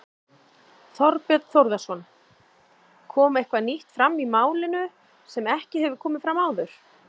Þorbjörn Þórðarson: Kom eitthvað nýtt fram í málinu sem ekki hefur komið fram áður?